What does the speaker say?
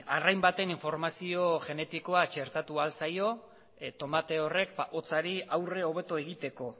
arrain baten informazio genetikoa txertatu ahal zaio tomate horrek hotzari aurre hobeto egiteko